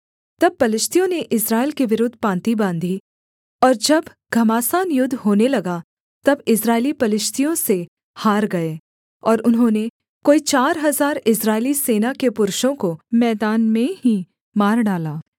तब पलिश्तियों ने इस्राएल के विरुद्ध पाँति बाँधी और जब घमासान युद्ध होने लगा तब इस्राएली पलिश्तियों से हार गए और उन्होंने कोई चार हजार इस्राएली सेना के पुरुषों को मैदान में ही मार डाला